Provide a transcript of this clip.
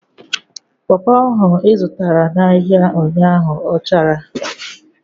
Popo ahụ ị zụtara n'ahia ụnyaahụ ọ chara?